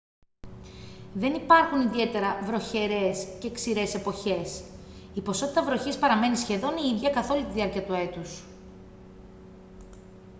δεν υπάρχουν ιδιαίτερα «βροχερές» και «ξηρές» εποχές: η ποσότητα βροχής παραμένει σχεδόν η ίδια καθ' όλη τη διάρκεια του έτους